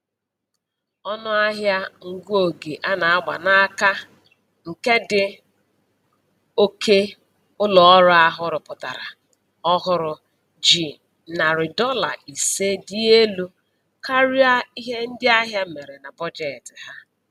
Ọnụahịa ngụ oge a na-agba n'aka nke ndị oke ụlọ ọrụ ahụ rụpụtara ọhụrụ ji narị dọla ise dị elu karịa ihe ndị ahịa mere na bọjetị ha